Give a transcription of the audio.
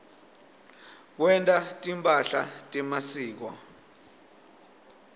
kwenta timphahla temasiko